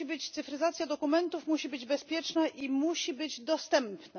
Cyfryzacja dokumentów musi być bezpieczna i musi być dostępna.